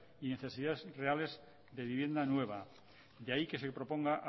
y necesidades reales de vivienda nueva de ahí que se proponga